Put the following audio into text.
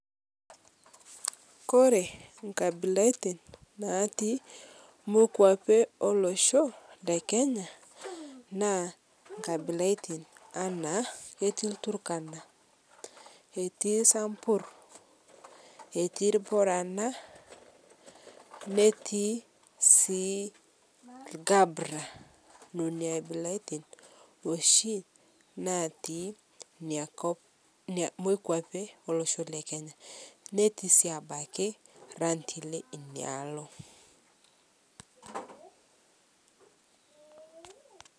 Ore nkabilaitin naati mokuapi olosho le Kenyaa na kaibilatin naino etii Turkana eetii samburr etii irburana neetii sii Gabra nena aabilaitinoshii naatii ina kop moikapi Omolosho le Kenya. Netii si abaki Rendile ina alo .